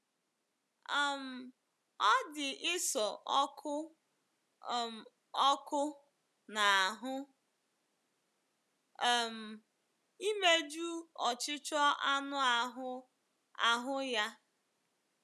um Ọ dị Esau ọkụ um ọkụ n’ahụ́ um imeju ọchịchọ anụ ahụ́ ahụ́ ya.